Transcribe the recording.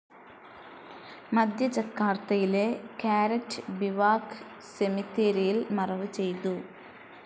മധ്യ ജക്കാർത്തയിലെ Karet Bivak സെമിത്തേരിയിൽ മറവ് ചെയ്തു.